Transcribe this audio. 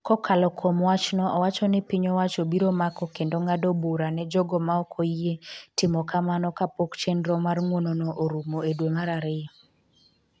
Kokalo kuom wachno, owacho ni piny owacho biro mako kendo ng’ado bura ne jogo ma ok oyie timo kamano kapok chenro mar ng’uonono orumo e dwe mar ariyo.